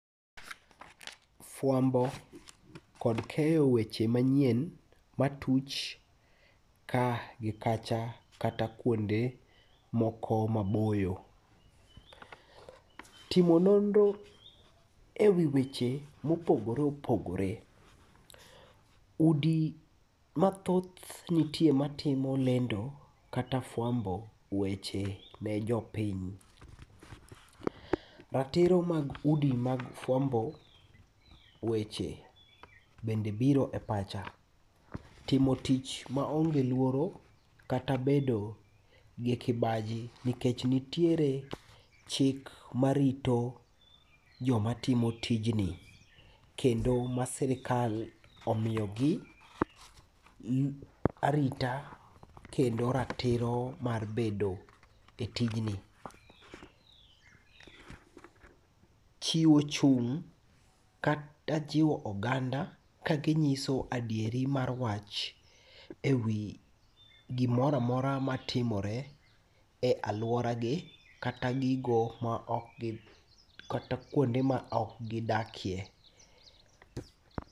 Fuambo kod keyo weche manyien matuch ka gi kacha kata kuonde moko maboyo. Timo nonro e wii weche mopogore opogore. Udi mathoth nitie matimo lendo kata fuambo weche ne jopiny. Ratiro mag udi mag fuambo weche bende biro e pacha. Timo tich maonge luoro kata bedo gi kibaji nikech nitiere chik marito jomatimo tijni kendo ma sirkal omiyogi arita kendo ratiro mar bedo e tijni. Chiwo chung' kata chiwo oganda ka ginyiso adieri mar wach e wii gimoramora matimore e aluoragi kata gigo maokgi, kata kuonde ma okgidakie.